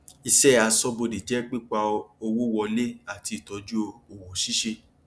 ìṣẹ aṣóbodè jẹ pípa owó wọlé àti ìtọjú òwò ṣíṣe